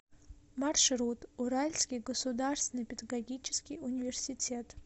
маршрут уральский государственный педагогический университет